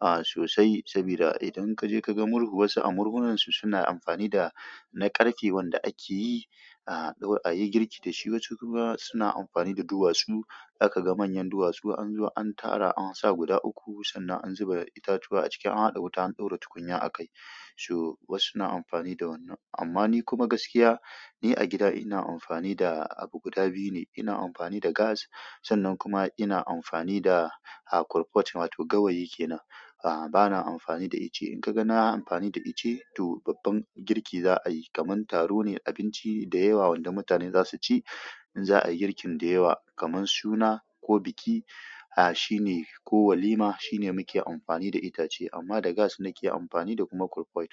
ah sosai sabida idan kaje ka ga murhu wasu a murhunan su suna amfani da na ƙarfe wanda akeyi a yi girki dasu. Wasu kuma suna amfani da duwatsu. Za ka ga manyan duwatsu an zo, an tara an sa guda uku sannan an zuba itatuwa a ciki an haɗa wuta an ɗora tukunya a kai. So, wasu suna amfani da wannan. Amma ni kuma gaskiya, ni a gida ina amfani da abu guda biyu ne. Ina amfani da gas sannan kuma ina amfani da, a, kurpot wato gawayi kenan. A, bana amfani da ice. In ka ga na amfani da ice to babban girki za a yi. Kaman taro ne, abinci da yawa wanda mutane za su ci. In za a yi girkin da yawa kaman suna ko biki, a, shine ko walima shine muke amfani da itace. Amma da gas muke amfani da kuma kurpot.